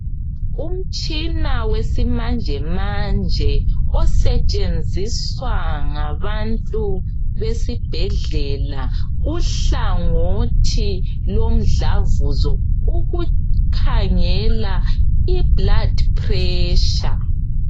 umtshina wesimanjemanje osetshenziswa ngabantu besibhedlela kuhlangothi lomdlavuzo ukukhangela i blood pressure